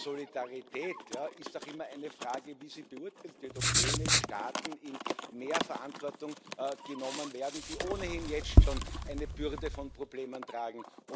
Aber Solidarität da ist auch immer die Frage, wie sie beurteilt wird, ob jene Staaten in mehr Verantwortung genommen werden, die ohnehin jetzt schon eine Bürde von Problemen tragen.